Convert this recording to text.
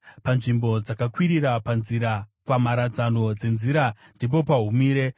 Panzvimbo dzakakwirira panzira, pamharadzano dzenzira, ndipo pahumire;